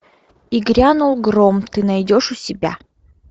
и грянул гром ты найдешь у себя